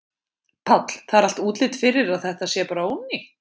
Páll: Það er allt útlit fyrir að þetta sé bara ónýtt?